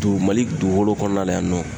Dugu mali dugukolo kɔnɔna na yan nɔ